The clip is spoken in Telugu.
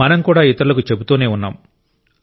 మనం కూడా ఇతరులకు చెబుతూనే ఉన్నాం